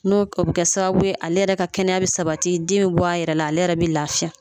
N'o o bi kɛ sababu ye ale yɛrɛ ka kɛnɛya bɛ sabati den bi bɔ a yɛrɛ la ale yɛrɛ bi lafiya.